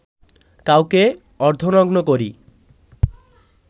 কাউকে অর্ধনগ্ন করি